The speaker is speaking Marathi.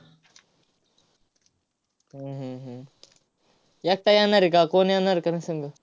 एकटा येणार आहे का कोण येणार संग?